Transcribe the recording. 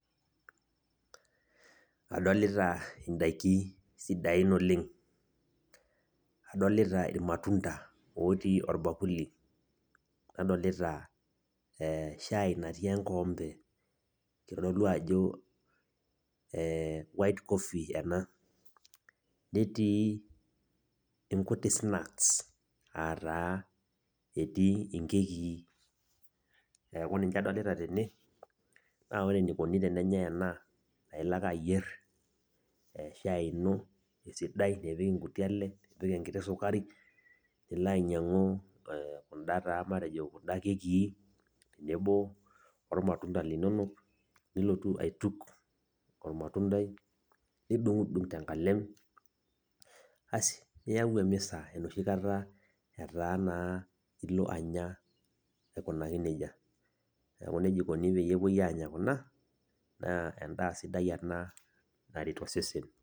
Adolita ndaiki sidan oleng', adolita irmatunda ootii orbakuli nadolita ee shaai natii enkikombe kitodolu ajo ee white coffee ena, netii nkuti snacks aa taa etii nkekii neeku ninche adolita tene naa ore enikoni tenenyaai ena ailo ake ayierr shaai ino esidai nipik nkuti ale nipik enketi sukari, nilo ainyiang'u kunda taa matejo kunda kekii tenebo ormatunda linonok nilotu aituk ormatundai nidung'undung tenkalem asi niyau emisa enoshi kata etaa naa ilo anya aikunaki neija, neeku neija ikoni teenepuoi aanya kuna naa endaa sidai ena naret osesen.